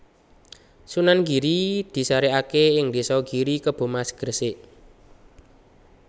Sunan Giri disarèkaké ing désa Giri Kebomas Gresik